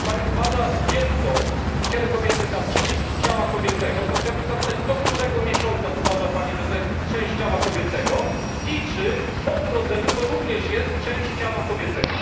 Jeśli Pani uważa dziecko w ciele kobiety za część ciała kobiecego, to chciałbym się zapytać, do którego miesiąca uważa Pani, że to jest część ciała kobiecego i czy po urodzeniu to również jest część ciała kobiecego.